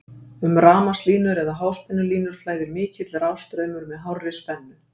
um rafmagnslínur eða háspennulínur flæðir mikill rafstraumur með hárri spennu